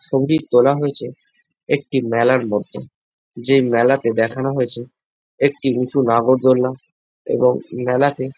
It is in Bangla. ছবিটি তোলা হয়েছে একটি মেলার মধ্যে। যেই মেলাতে দেখানো হয়েছে একটি উঁচু নাগর দোলনা এবং মেলাতে।